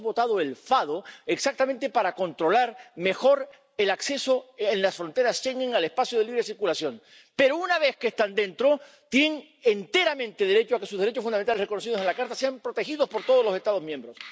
Hoy hemos votado el FADO exactamente para controlar mejor el acceso, en las fronteras Schengen, al espacio de libre circulación, pero, una vez que están dentro, tienen enteramente derecho a que sus derechos fundamentales, reconocidos en la Carta, sean protegidos por todos los Estados miembros.